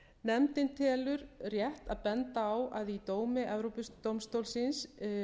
nefndin telur rétt að benda á að í dómi evrópudómstólsins